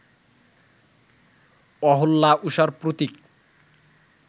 অহল্যা উষার প্রতীক